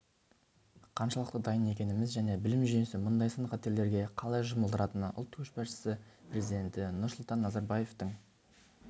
қаншалықты дайын екеніміз және білім жүйесі мұндай сын-қатерлерге қалай жұмылдырылатыны ұлт көшбасшысы президенті нұрсұлтан назарбаевтың